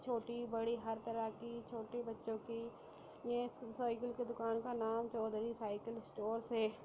छोटी बड़ी हर तरह की छोटे बच्चो की ये साइकिल की दुकान का नाम चौधरी साइकिल स्टोर्स है।